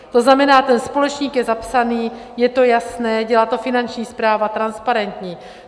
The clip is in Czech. To znamená, ten společník je zapsaný, je to jasné, dělá to Finanční správa, transparentní.